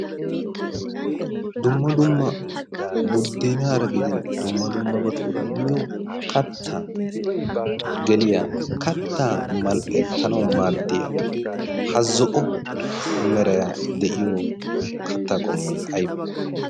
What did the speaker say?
dumma dumma budeenaynne qassi dumma dumma kattaa ekkanwu maadiya ha zo'obay aybee?